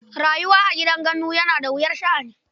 Rayuwa a gidan gandu akwai wuyar sha'ani.